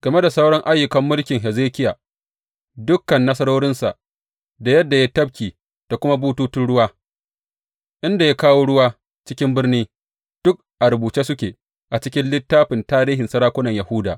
Game da sauran ayyukan mulkin Hezekiya, dukan nasarorinsa da yadda ya yi tafki da kuma bututun ruwa inda ya kawo ruwa cikin birni, duk a rubuce suke a cikin littafin tarihin sarakunan Yahuda.